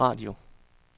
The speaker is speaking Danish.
radio